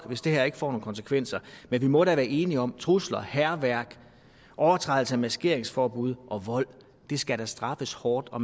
hvis det her ikke får nogle konsekvenser men vi må da være enige om at trusler hærværk overtrædelse af maskeringsforbuddet og vold skal straffes hårdt og